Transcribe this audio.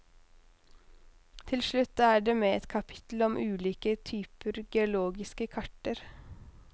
Til slutt er det med et kapittel om ulike typer geologiske karter.